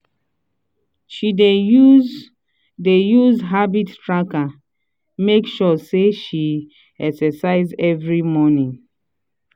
she dey use dey use habit tracker make sure say she dey exercise every morning.